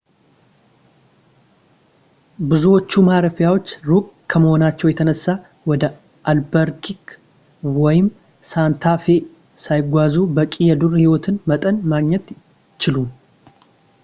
ብዙዎቹ ማረፊያዎች ሩቅ ከመሆናቸው የተነሳ ወደ አልበከርኪ ወይም ሳንታ ፌ ሳይጓዙ በቂ የዱር ህይወት መጠን ማግኘት አይችሉም